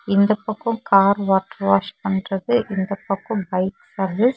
இந்தப் பக்கம் car water wash பண்றது இந்த பக்கம் பைக் சர்வீஸ் .